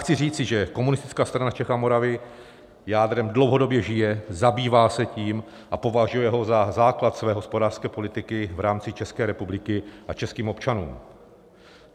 Chci říci, že Komunistická strana Čech a Moravy jádrem dlouhodobě žije, zabývá se tím a považuje ho za základ své hospodářské politiky v rámci České republiky a českých občanů.